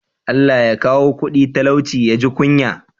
Allah Ya kawo kudi talauci ya ji kunya?